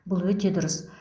бұл өте дұрыс